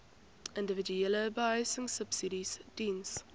individuele behuisingsubsidies diens